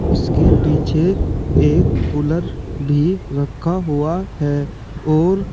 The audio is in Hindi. इसके पीछे एक कुलर भी रखा हुआ है और--